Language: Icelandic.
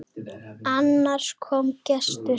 Annars kom gestur.